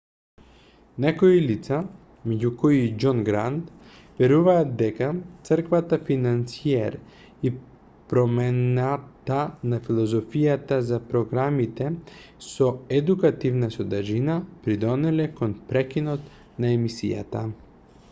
некои лица меѓу кои и џон грант веруваат дека црквата-финансиер и промената на филозофијата за програмите со едукативна содржина придонеле кон прекинот на емисијата